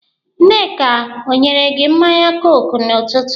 Nneka o nyere gị mmanya kooku n'ụtụtụ?